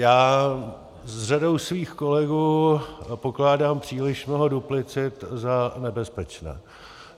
Já s řadou svých kolegů pokládám příliš mnoho duplicit za nebezpečné.